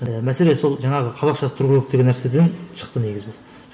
ііі мәселе сол жаңағы қазақшасы тұру керек деген нәрседен шықты негізі